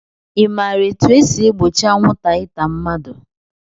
I maara etu e si egbochi anwụnta ịta mmadụ?